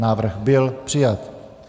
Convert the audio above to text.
Návrh byl přijat.